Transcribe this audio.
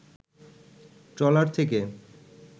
trawler থেকে